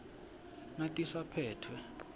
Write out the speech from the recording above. natisaphetfwe